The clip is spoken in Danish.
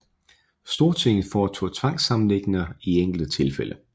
Stortinget foretog tvangssammenlægninger i enkelte tilfælde